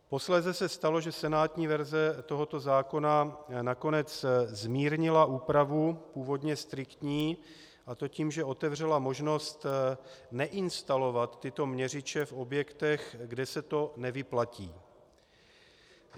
Posléze se stalo, že senátní verze tohoto zákona nakonec zmírnila úpravu, původně striktní, a to tím, že otevřela možnost neinstalovat tyto měřiče v objektech, kde se to nevyplatí.